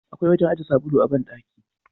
Akwai wajen aje sabulu a bandaki.